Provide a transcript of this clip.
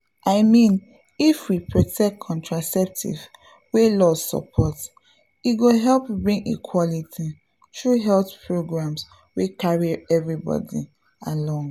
i mean if we protect contraceptives wey law support e go help bring equality through health programs wey carry everybody along.